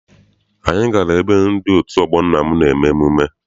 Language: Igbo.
Anyị gara ebe ndị otu ọgbọ nna m na-eme mmemme.